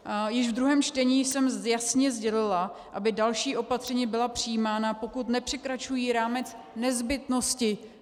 Již ve druhém čtení jsem jasně sdělila, aby další opatření byla přijímána, pokud nepřekračují rámec nezbytnosti.